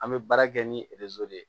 An bɛ baara kɛ ni de ye